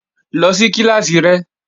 Lọ sí kíláàsì rẹ!